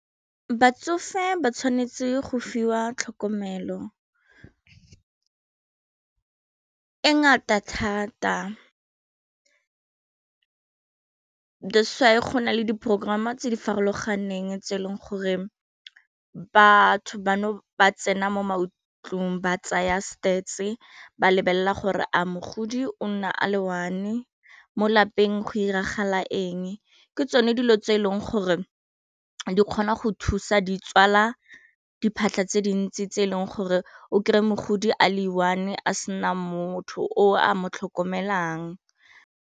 Batsofe ba tshwanetse go fiwa tlhokomelo e ngata thats why gona le di porogorama tse di farologaneng tse e leng gore batho bano ba tsena mo maikutlong ba tsaya stats ba lebelela gore a mogodi o nna a le one mo lapeng go iragala eng ke tsone dilo tse e leng gore di kgona go thusa di tswala diphatlha tse dintsi tse e leng gore o kry-e mogodi a le one go sena motho o a mo tlhokomelang.